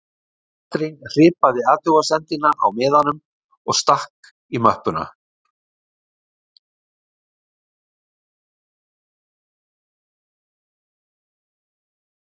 Katrín hripaði athugasemdina á miða og stakk í möppuna